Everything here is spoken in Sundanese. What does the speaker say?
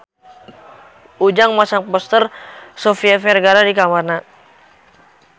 Ujang masang poster Sofia Vergara di kamarna